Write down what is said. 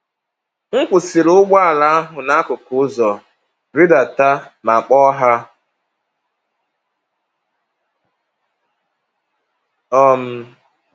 M kwụsịrị ụgbọala ahụ n’akụkụ ụzọ, rịdata, ma kpọọ ha. um